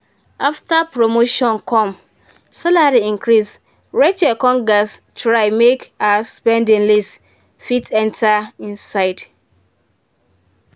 after promotion come salary increase rachel come get try make her spending list fit enter inside.